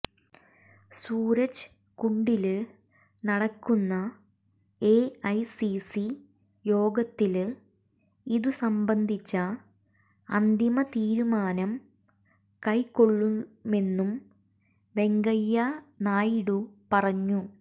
സൂരജ് കുണ്ഡില് നടക്കുന്ന എഐസിസി യോഗത്തില് ഇതുസംബന്ധിച്ച അന്തിമ തീരുമാനം കൈക്കൊള്ളുമെന്നും വെങ്കയ്യനായിഡു പറഞ്ഞു